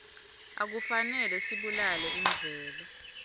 akufanele sibulale imvelo